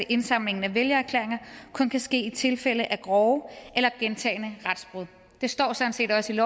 indsamlingen af vælgererklæringer kun kan ske i tilfælde af grove eller gentagne retsbrud det står sådan set også i